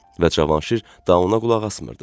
Və Cavanşir daha ona qulaq asmırdı.